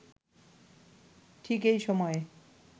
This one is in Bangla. ঠিক এই সময়ে